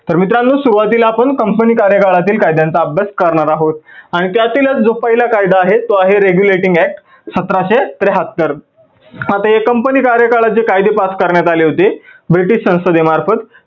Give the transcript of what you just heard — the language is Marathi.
तर मित्रांनो सुरुवातीला आपण company कार्यकाळातील कायद्यांचा अभ्यास करणार आहोत आणि त्यातीलच जो पहिला कायदा आहे तो आहे regulating act सतराशे त्र्याहत्तर. company कार्यकाळात जे कायदे pass करण्यात आलेले होते ब्रिटीश संसदे मार्फत